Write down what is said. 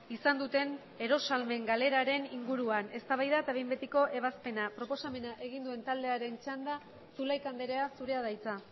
izan duten erosahalmen galeraren inguruan eztabaida eta behin betiko ebazpena proposamena egin duen taldearen txanda zulaika andrea zurea da hitza